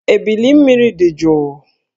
Ébílí mmiri dị jụụ